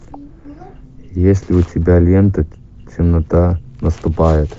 есть ли у тебя лента темнота наступает